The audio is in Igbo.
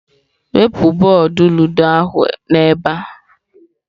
Wepụ bọọdụ ludo ahụ n'ebe a!.